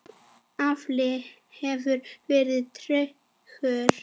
Afli hefur verið tregur.